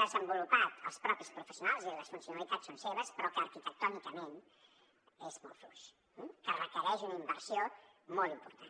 desenvolupat els propis professionals és a dir les funcionalitats són seves però arquitectònicament és molt fluix i requereix una inversió molt important